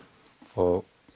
og